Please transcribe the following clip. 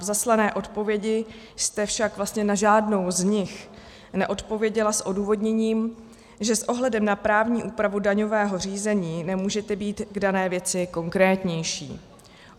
V zaslané odpovědi jste však vlastně na žádnou z nich neodpověděla s odůvodněním, že s ohledem na právní úpravu daňového řízení nemůžete být k dané věci konkrétnější.